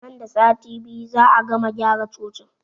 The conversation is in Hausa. Nan da sati biyu za'a gama gyara cocin